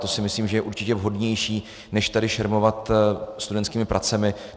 To si myslím, že je určitě vhodnější než tady šermovat studentskými pracemi.